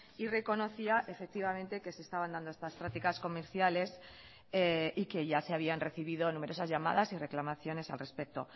y reconocía efectivamente que se estaban dando estas prácticas comerciales y que ya se habían recibido numerosas llamadas y reclamaciones al respecto